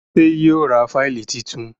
ṣe yíò rá Fáìlì títún?